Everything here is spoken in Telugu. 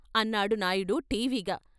అన్నాడు నాయుడు ఠీవిగా.